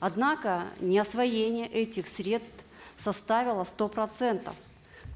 однако неосвоение этих средств составило сто процентов